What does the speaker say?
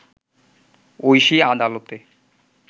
ঐশী আদালতে